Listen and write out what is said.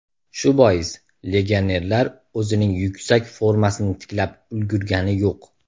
Shu bois, legionerlar o‘zining yuksak formasini tiklab ulgurgani yo‘q.